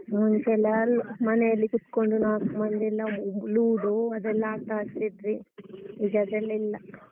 ಮುಂಚೆಲ್ಲ ಅಲ್ ಮನೆಯಲ್ಲಿ ಕೂತ್ಕೊಂಡು ನಾಕ್ ಮಂದಿಯೆಲ್ಲ ludo ಅದೆಲ್ಲ ಆಟ ಆಡ್ತಿದ್ವಿ ಈಗ ಅದೆಲ್ಲ ಇಲ್ಲ.